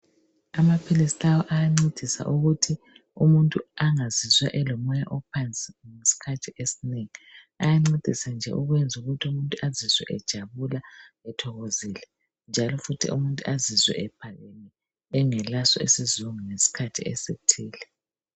Amaphilisi lawa ayancedisa ukuthi umuntu angazizwa elomoya ophansi isikhathi esinengi. Ayancedisa nje ukwenza ukuthi umuntu azizwe ejabula, ethokozile njalo futhi umuntu azizwe ephakame engelaso isizungu ngesikhathi esithile